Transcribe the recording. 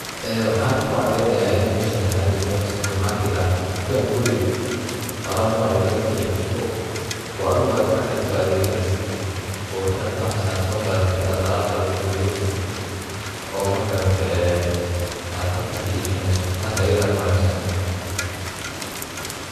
Waxan halkan ku cadeynaya inay meshan tahay Mel supermarket ah, tukan weyn oo Alab noc walba ad kaheli karto oo ad adigu gacantada ku adeegganeysid oo intad bahashas soo qadatid alabtada kusoridaneysid oo magarata ee ad halka ka ibsaneyso. taas ayada ayan u aminsana